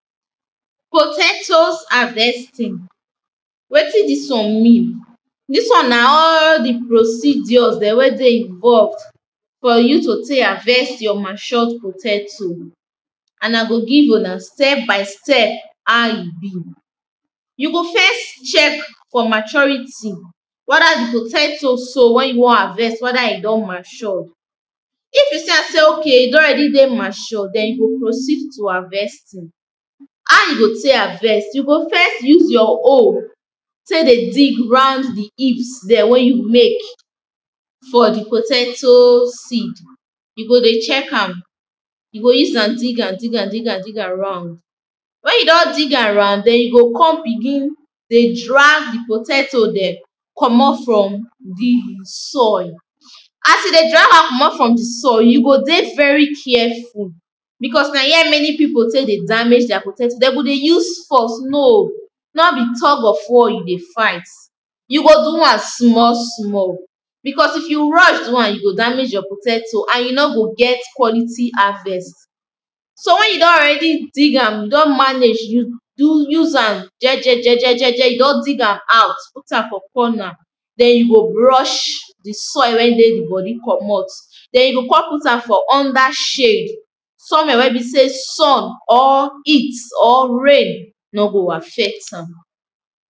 Potatoes harvesting wetin dis one mean dis one na all di procedure wey dey involve for you to take harvest your matured potato and I go give una step by step how e be you go first check for maturity weda di potato so wey you wan harvest, weda e don mature If you see am sey okay e don ready dey mature then you go proceed to harvesting How you go take harveat, you go first use your hoe take dey dig round di heaps dem wey you make for di potato seed. You go dey check am you go use am dig am dig am dig am dig am around wen you don dig am round then you go come begin dey drag di potato dem comot from di soil As you dey drag am comot from di soil you go dey very careful becos na here many pipo take dey damage their potato, dem go dey use force, no no be tug of war you dey fight. You go do am small small becos if you rush do am you go damage your potato and you no go get quality harvest So wen you don already dig am, you don manage use hand jeje jeje jeje, you don dig am out put am for corner then you go brush soil wey dey di body comot then you go come put am for under shade somewhere wey be sey sun or heat or rain no go affect am.